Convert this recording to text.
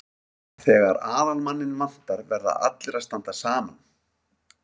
Þegar aðalmanninn vantar verða allir að standa saman.